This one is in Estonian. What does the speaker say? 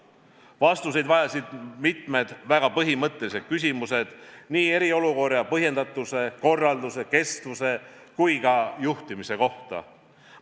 Vastuseid vajasid mitmed väga põhimõttelised küsimused nii eriolukorra põhjendatuse, korralduse, kestuse kui ka juhtimise kohta.